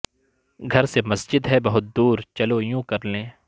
گھر سے مسجد ہے بہت دور چلو یوں کر لیں